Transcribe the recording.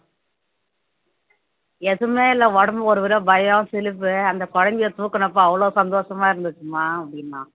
எதுவுமே இல்லை உடம்புக்கு ஒரு தடவை பயம் சிலிப்பு அந்த குழந்தையை தூக்குனப்போ அவ்வளவு சந்தோஷமா இருந்துச்சும்மா அப்படின்னான்